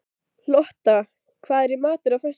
Björgúlfur, bókaðu hring í golf á fimmtudaginn.